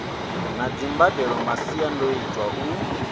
na dzimbadelo masiandoitwa a u